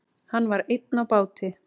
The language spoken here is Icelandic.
Hann var einn á báti.